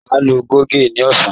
Màá lu goge ní ọ̀sán